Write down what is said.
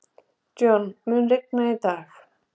John, mun rigna í dag?